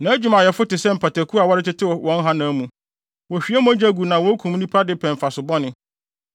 Nʼadwumayɛfo te sɛ mpataku a wɔretetew wɔn hanam mu; wohwie mogya gu na wokum nnipa de pɛ mfaso bɔne.